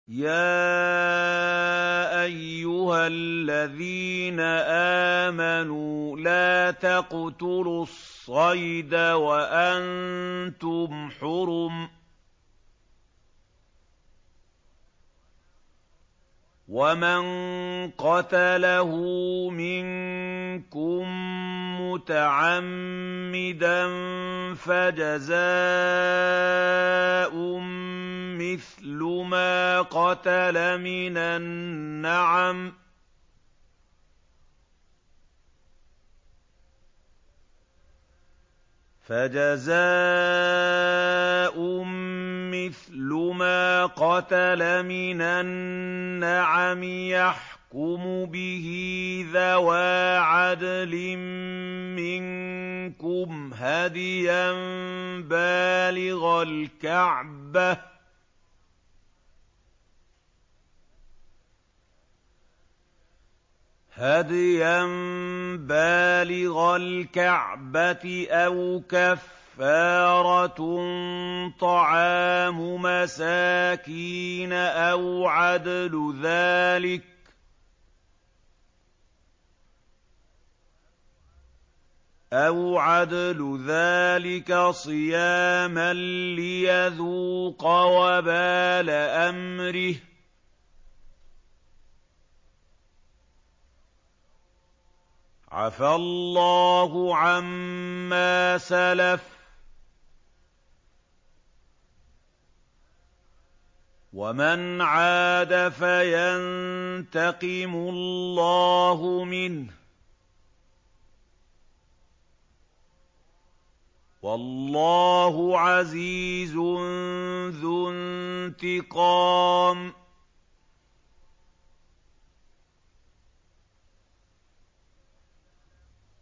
يَا أَيُّهَا الَّذِينَ آمَنُوا لَا تَقْتُلُوا الصَّيْدَ وَأَنتُمْ حُرُمٌ ۚ وَمَن قَتَلَهُ مِنكُم مُّتَعَمِّدًا فَجَزَاءٌ مِّثْلُ مَا قَتَلَ مِنَ النَّعَمِ يَحْكُمُ بِهِ ذَوَا عَدْلٍ مِّنكُمْ هَدْيًا بَالِغَ الْكَعْبَةِ أَوْ كَفَّارَةٌ طَعَامُ مَسَاكِينَ أَوْ عَدْلُ ذَٰلِكَ صِيَامًا لِّيَذُوقَ وَبَالَ أَمْرِهِ ۗ عَفَا اللَّهُ عَمَّا سَلَفَ ۚ وَمَنْ عَادَ فَيَنتَقِمُ اللَّهُ مِنْهُ ۗ وَاللَّهُ عَزِيزٌ ذُو انتِقَامٍ